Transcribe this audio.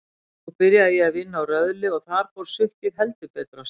Nú byrjaði ég að vinna á Röðli og þar fór sukkið heldur betur af stað.